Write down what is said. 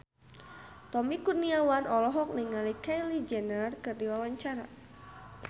Tommy Kurniawan olohok ningali Kylie Jenner keur diwawancara